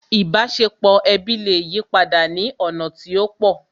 Ìbáṣepọ̀ ẹbí lè yipadà ní ọ̀nà tí ó pọ̀